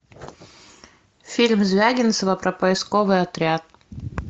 фильм звягинцева про поисковый отряд